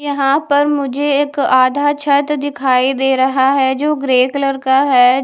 यहां पर मुझे एक आधा छत दिखाई दे रहा है जो ग्रे कलर का है।